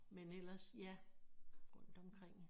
Men ellers ja rundt omkring